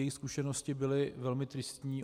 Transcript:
Jejich zkušenosti byly velmi tristní.